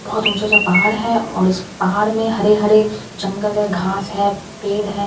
बहुत ऊँचा-ऊँचा पहाड़ है और इस पहाड़ में हरे-हरे जंगल है घास है पेड़ है।